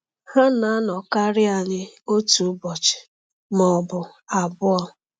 Ha na-anọkarị anyị otu ụbọchị ma ọ bụ abụọ.